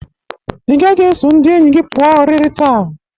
Ị gaghị eso ndị enyi gi pụa oriri taa.